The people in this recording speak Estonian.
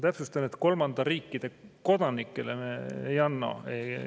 Täpsustan, et kolmandate riikide kodanikele me ei anna.